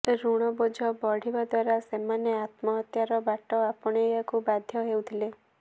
ଋଣ ବୋଝ ବଢିବା ଦ୍ୱାରା ସେମାନେ ଆତ୍ମହତ୍ୟାର ବାଟ ଆପଣାଇବାକୁ ବାଧ୍ୟ ହେଉଥିଲେ